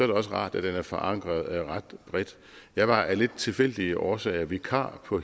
det også rart at den er forankret ret bredt jeg var af lidt tilfældige årsager vikar på